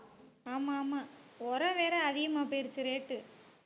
ஆமா ஆமா உரம் வேற அதிகமா போயிருச்சு rate